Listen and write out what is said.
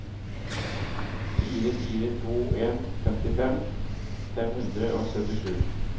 fire fire to en femtifem fem hundre og syttisju